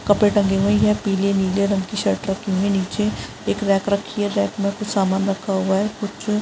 कपडे टंगे हुए है पिले नीले रंग कि शर्ट रखी हुई है नीचे एक रेक रखी है रेक में कुछ सामान रखा हुआ है कुछ --